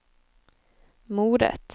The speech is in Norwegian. moret